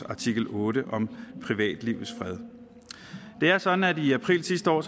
artikel otte om privatlivets fred det er sådan at i april sidste år